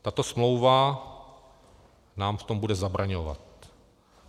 Tato smlouva nám v tom bude zabraňovat.